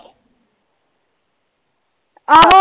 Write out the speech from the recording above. ਆਹੋ।